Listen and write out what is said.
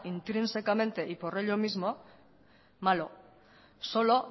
intrínsecamente y por ello mismo malo solo